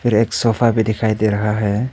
फिर एक सोफा भी दिखाई दे रहा है।